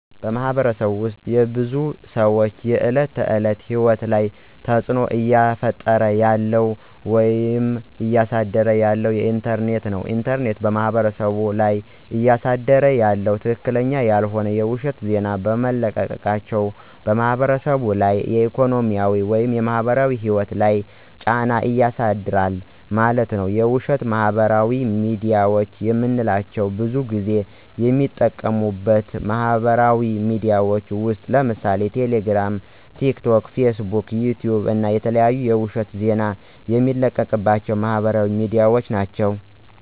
በማህበረሰቡ ውስጥ የብዙ ሰዎች የዕለት ተዕለት ህይወት ላይ ተፅዕኖ እየፈጠረ ያለው ወይም እያሳደረ ያለው ኢንተርኔት ነው። ኢንተርኔት በማህበረሰቡ ላይ እያሳደረ ያለው ትክክለኛ ያልሆነ የውሸት ዜና በመልቀቃቸው በማህበረሰቡ ላይ ኢኮኖሚያዊ ወይም ማህበራዊ ህይወት ላይ ጫና ያሳድራል ማለት ነዉ። የውሸት ማህበራዊ ሚድያዎች የምንላቸው ብዙን ጊዜ የሚጠቀሙበት ማህበራዊ ሚድያዎች ውስጥ ለምሳሌ ቴሌግራም፣ ቲክቶክ፣ ፌስቡክ፣ ዩቲዩብ እና የተለያዩ የውሸት ዜና የሚለቀቅባቸው ማህበራዊ ሚድያዎች ናቸው።